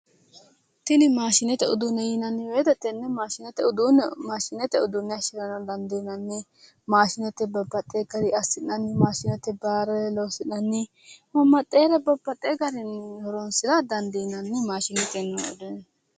Tini mashinete uduune yinanni woyte tenne mashinete uduune mashinete uduune hayinarano danidiinanni mashinetey babbaxewo garii assinanni mashinetey baalare losi'nani babbaxewore babbaxewo garii horonisira danidiinan mashinetenni